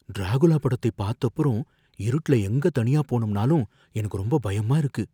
Dracula படத்தை பாத்தப்புறம், இருட்டுல எங்க தனியா போணும்னாலும் எனக்கு ரொம்ப பயமா இருக்கு.